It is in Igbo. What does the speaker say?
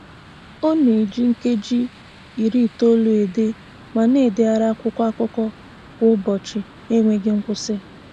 Ọ na-eji nkeji iri itoolu ede ma na-edegharị akwụkwọ akụkọ kwa ụbọchị n'enweghị nkwusị